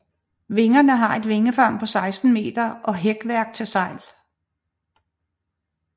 Vingerne har et vingefang på 16 meter og hækværk til sejl